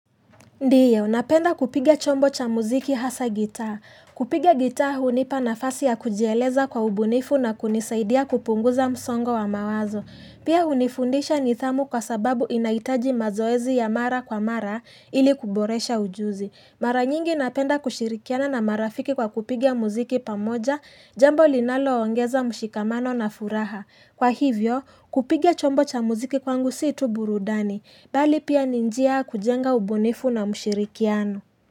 Ndiyo, napenda kupiga chombo cha muziki hasa gitaa. Kupiga gitaa hunipa nafasi ya kujieleza kwa ubunifu na kunisaidia kupunguza msongo wa mawazo. Pia hunifundisha nidhamu kwa sababu inahitaji mazoezi ya mara kwa mara ili kuboresha ujuzi. Mara nyingi napenda kushirikiana na marafiki kwa kupiga muziki pamoja, jambo linaloongeza mshikamano na furaha. Kwa hivyo, kupiga chombo cha muziki kwangu si tu burudani, bali pia ni njia ya kujenga ubunifu na mshirikiano.